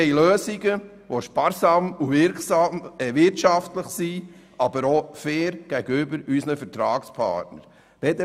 Wir wollen sparsame und wirtschaftliche Lösungen, die auch fair gegenüber unseren Vertragspartnern sind.